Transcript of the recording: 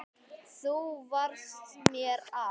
Þú varst mér allt.